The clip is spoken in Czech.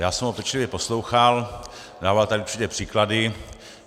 Já jsem ho pečlivě poslouchal, dával tady určité příklady.